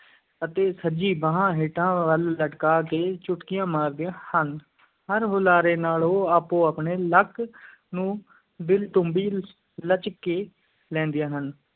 ਅਤੇ ਸੱਜੀ ਬਾਂਹ ਹੇਠਾਂ ਵੱਲ ਲਟਕਾ ਕੇ ਚੁਟਕੀਆਂ ਮਾਰਦੀਆਂ ਹਨ, ਹਰ ਹੁਲਾਰੇ ਨਾਲ ਉਹ ਆਪੋ-ਆਪਣੇ ਲੱਕ ਨੂੰ ਦਿਲ-ਟੁੰਬੀ ਲਚਕ ਲੈਂਦੀਆਂ ਹਨ।